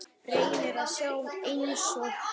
Reynir að sjá einsog hann.